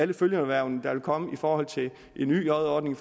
de følgeerhverv der vil komme i forhold til en yj ordning